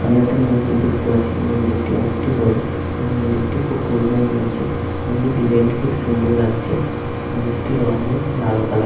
সামনে একটা মন্দির দেখতে পাচ্ছি মন্দিরটি অনেকটি বড় এই মন্দিরটি খুব পুরোনো মনে হচ্ছে। মন্দির ডিসাইন -টি খুব সুন্দর লাগছে মন্দিরটির রং হলো লাল কালার ।